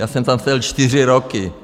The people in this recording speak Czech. Já jsem tam seděl čtyři roky.